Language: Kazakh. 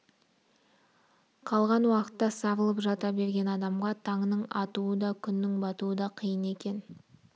қалған уақытта сарылып жата берген адамға таңның атуы да күннің батуы да қиын екен